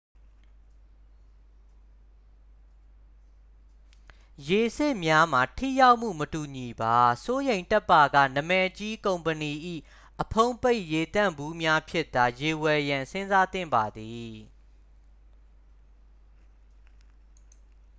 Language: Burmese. ရေစစ်များမှာ ထိရောက်မှု မတူညီပါ စိုးရိမ်တတ်ပါက နာမည်ကြီး ကုမ္ပဏီ၏ အဖုံးပိတ်ရေသန့်ဘူးများဖြင့်သာ ရေဝယ်ရန်စဉ်းစားသင့်ပါသည်